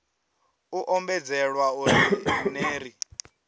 u ombedzelwa uri ner i